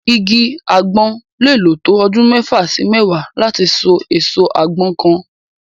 Igi àgbọn lè lò tó ọdún mẹ́fà sí mẹ́wàá láti so èso àgbọn kan.